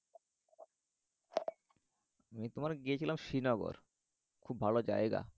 আমি তোমার গিয়েছিলাম শ্রীনগর। খুব ভালো জায়গা